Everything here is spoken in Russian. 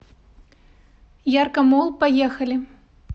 яркомолл поехали